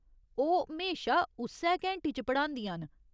ओह् म्हेशा उस्सै घैंटी च पढ़ांदियां न।